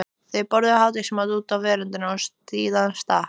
Þau borðuðu hádegismat úti á veröndinni og síðan stakk